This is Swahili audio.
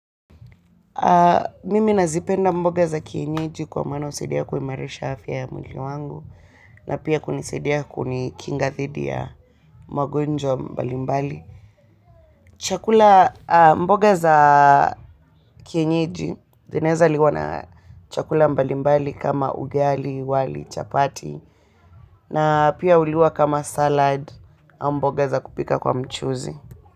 Mimi nazipenda mboga za kienyeji kwa maana, husaidia kuimarisha afya ya mwili wangu na pia kunisaidia kunikinga thidi ya magonjwa mbali mbali. Chakula mboga za kienyeji, zinaweza liwa na chakula mbali mbali kama, ugali, wali, chapati na pia huliwa kama salad, ama mboga za kupika kwa mchuzi.